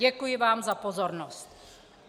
Děkuji vám za pozornost.